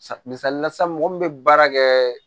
Sa misali la sisan mɔgɔ min bɛ baara kɛ